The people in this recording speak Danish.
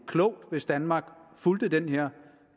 klogt hvis danmark fulgte den her